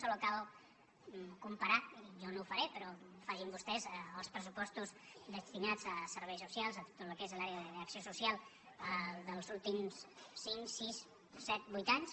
només cal comparar jo no ho faré però facin ho vostès els pressupostos destinats a serveis socials a tot el que és l’àrea d’acció social dels últims cinc sis set vuit anys